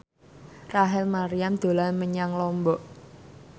Rachel Maryam dolan menyang Lombok